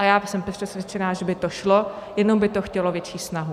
A já jsem přesvědčena, že by to šlo, jenom by to chtělo větší snahu.